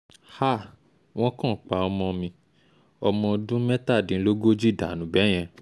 háà wọ́n kàn pa ọmọ mi ọmọ ọdún mẹ́tàdínlógójì dànù bẹ́ẹ̀ yẹn